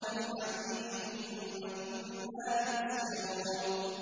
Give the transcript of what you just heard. فِي الْحَمِيمِ ثُمَّ فِي النَّارِ يُسْجَرُونَ